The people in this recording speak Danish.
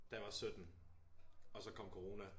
Da jeg var 17 og så kom corona